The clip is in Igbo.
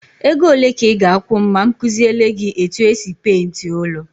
Ego ole ka ị ga-akwụ m ma m kuziele gị etu e si peenti ụlọ?